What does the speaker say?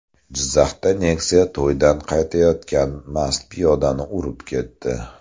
Jizzaxda Nexia to‘ydan qaytayotgan mast piyodani urib ketdi.